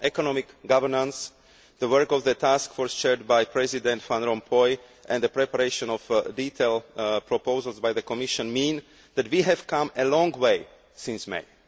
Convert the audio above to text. On economic governance the work of the task force chaired by President Van Rompuy and the preparation of detailed proposals by the Commission mean that we have come a long way since May.